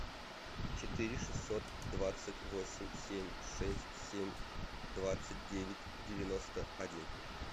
четыре шестьсот двадцать восемь семь шесть семь двадцать девять девяносто один